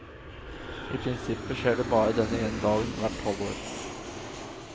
I prinsippet skjer det bare denne ene dagen hvert halvår.